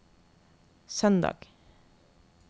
søndag